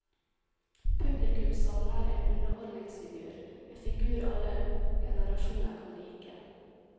Publikum savner en underholdningsfigur, en figur alle generasjoner kan like.